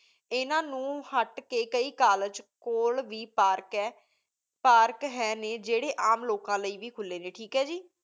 ਏਨਾ ਨੂ ਹਟ ਕੀ ਕਈ College ਕੋਲ ਵੇ park ਆਯ park ਹੈਂ ਨੀ ਜੀਰੀ ਆਮ ਲੀਕਾਂ ਲੈ ਵੇ ਖੁਲੀ ਨੀ ਠੀਕ ਹੈ ਜੀ